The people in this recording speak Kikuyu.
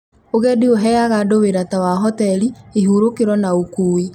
Ũgendi uheaga andũ wĩra ta wa hoteli, ihũrũkĩro na ũkui